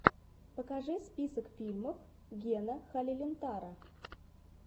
покажи список фильмов гена халилинтара